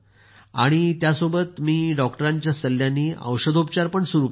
त्यासोबतच मी नंतर डॉक्टरांच्या सल्ल्यानं औषधोपाचार पण सुरु केले होते